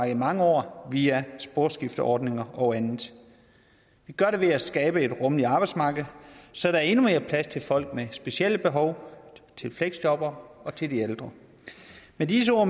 i mange år via sporskifteordninger og andet vi gør det ved at skabe et rummeligt arbejdsmarked så der er endnu mere plads til folk med specielle behov til fleksjobbere og til de ældre med disse ord